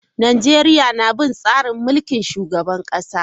Najeriya na bin tsarin mulkin shugaban kasa.